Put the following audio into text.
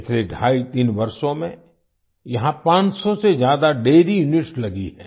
पिछले ढाईतीन वर्षों में यहाँ 500 से ज्यादा डैरी यूनिट्स लगी हैं